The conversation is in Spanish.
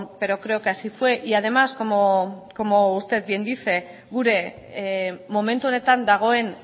pero creo que así fue y además como usted bien dice gure momentu honetan dagoen